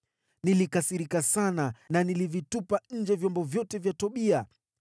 Nilikasirika sana na nikavitupa nje vyombo vyote vya Tobia.